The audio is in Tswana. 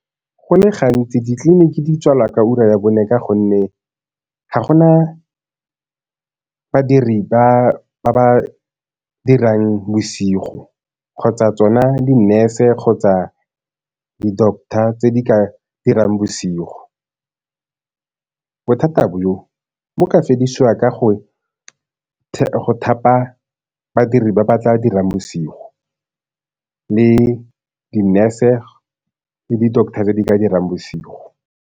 Go le gantsi ditleliniki di tswalwa ka ura ya bone ka gonne ga gona badiri ba ba dirang bosigo kgotsa tsona di-nurse kgotsa di-doctor tse di ka dirang bosigo. Bothata bo, bo ka fedisiwa ka go thapa badiri ba ba tla dirang bosigo, le di-nurse gore le di-doctor di ka dirang bosigo.